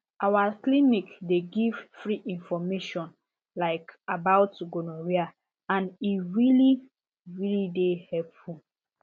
our clinic dey give free information like about gonorrhea and e really really dey helpful